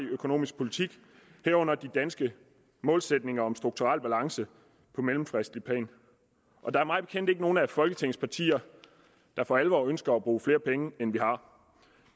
økonomisk politik herunder de danske målsætninger om strukturel balance på mellemfristligt plan og der er mig bekendt ikke nogen af folketingets partier der for alvor ønsker at bruge flere penge end vi har